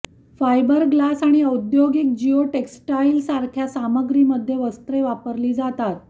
fibre glass आणि औद्योगिक geotextile सारख्या सामग्रीमध्ये वस्त्रे वापरली जातात